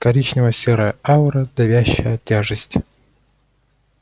коричнево-серая аура давящая тяжесть